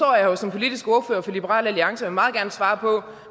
her jo som politisk ordfører for liberal alliance og meget gerne svare på